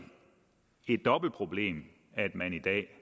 et dobbelt problem at man i dag